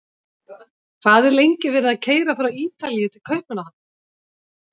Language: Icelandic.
Hvað er lengi verið að keyra frá Ítalíu til Kaupmannahafnar?